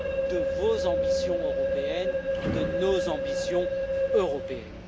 de vos ambitions européennes, de nos ambitions européennes.